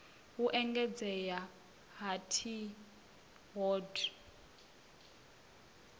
u engedzea ha t hod